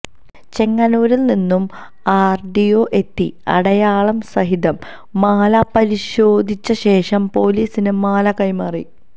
ചെങ്ങന്നൂരില് നിന്നും ആര്ഡിഒ എത്തി അടയാളം സഹിതം മാല പരിശോധിച്ച ശേഷം പോലീസിന് മാല കൈമാറി